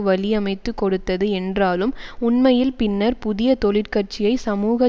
வழி அமைத்து கொடுத்தது என்றாலும் உண்மையில் பின்னர் புதிய தொழிற்கட்சியை சமூக